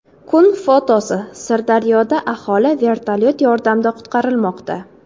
Kun fotosi: Sirdaryoda aholi vertolyot yordamida qutqarilmoqda.